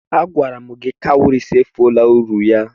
Agwara m gi na cowries efuola uru ya.